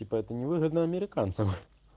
типо это невыгодно американцам